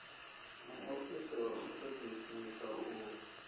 muofisi wa u ṱoḓisisa u